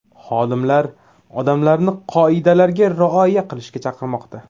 Xodimlar odamlarni qoidalarga rioya qilishga chaqirmoqda.